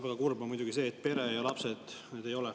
Väga kurb on muidugi see, et pere ja lapsed need ei ole.